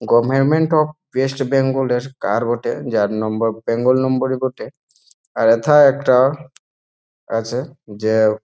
Government of West Bengal -এর কার বটে। যার নম্বর বেঙ্গল নম্বর -ই বটে। আর এথা একটা আছে যে--